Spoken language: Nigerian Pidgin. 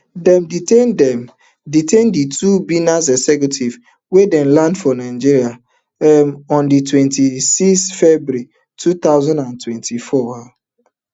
dem detain dem detain di two binance executives wen dem land for nigeria um ondi twenty-six february two thousand and twenty-four um